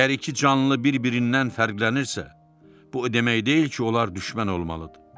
Əgər iki canlı bir-birindən fərqlənirsə, bu o demək deyil ki, onlar düşmən olmalıdır.